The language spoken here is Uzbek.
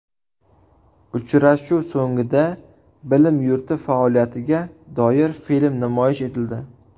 Uchrashuv so‘ngida bilim yurti faoliyatiga doir film namoyish etildi.